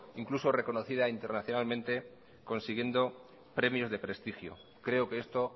incluso reconocida internacionalmente consiguiendo premios de prestigio creo que esto